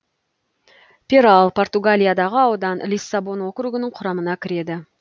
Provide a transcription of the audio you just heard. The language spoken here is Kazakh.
перал португалиядағы аудан лиссабон округінің құрамына кіреді